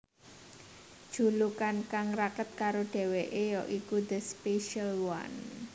Julukan kang raket karo dhéwéké ya iku The Special One